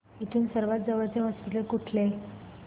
इथून सर्वांत जवळचे हॉस्पिटल कुठले